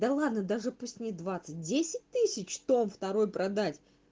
да ладно даже пусть не двадцать десять тысяч том второй продать